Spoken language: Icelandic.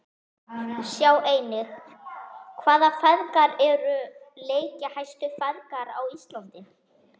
Sjá einnig: Hvaða feðgar eru leikjahæstu feðgar á Íslandi?